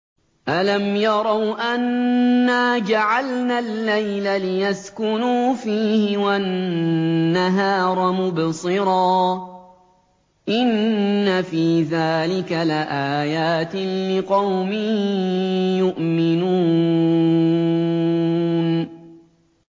أَلَمْ يَرَوْا أَنَّا جَعَلْنَا اللَّيْلَ لِيَسْكُنُوا فِيهِ وَالنَّهَارَ مُبْصِرًا ۚ إِنَّ فِي ذَٰلِكَ لَآيَاتٍ لِّقَوْمٍ يُؤْمِنُونَ